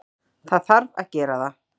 Það þarf að gera það.